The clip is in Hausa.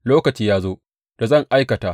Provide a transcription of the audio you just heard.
Lokaci ya zo da zan aikata.